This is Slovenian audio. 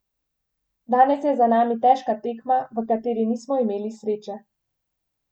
Danes je za nami težka tekma, v kateri nismo imeli sreče.